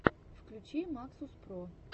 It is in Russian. включи максус про